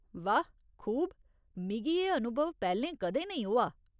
वाह खूब। मिगी एह् अनुभव पैह्‌लें कदें नेईं होआ ।